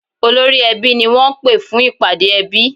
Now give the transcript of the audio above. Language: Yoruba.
Olórí-ẹbí ni wọ́n pè fún ìpàdé ẹbí